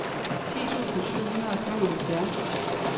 ti tusind syv hundrede og femoghalvfjerds